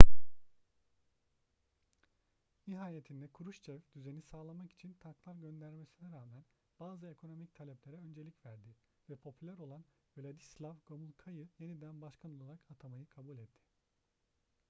nihayetinde kruşçev düzeni sağlamak için tanklar göndermesine rağmen bazı ekonomik taleplere öncelik verdi ve popüler olan wladyslaw gomulka'yı yeni başbakan olarak atamayı kabul etti